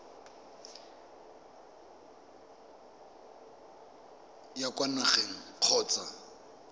o ya kwa nageng kgotsa